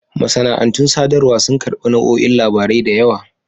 Masana'antun sadarwa sun karɓi nau'o'in labarai da yawa.